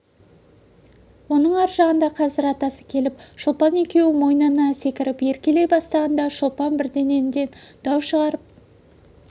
оның ар жағында қазір атасы келіп шолпан екеуі мойнына секіріп еркелей бастағанда шолпан бірдеңеден дау шығарып